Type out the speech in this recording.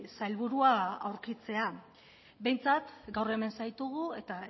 sailburua aurkitzea behintzat gaur hemen zaitugu eta